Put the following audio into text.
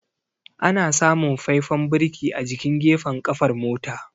Ana samun faifan birki a jikin gafen kafar mota.